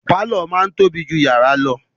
Pàlọ́ máa ń tóbi jù yàrá lọ